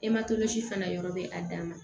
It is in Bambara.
fana yɔrɔ bɛ a dan ma